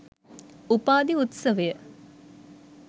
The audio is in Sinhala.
උපාධි උත්සවය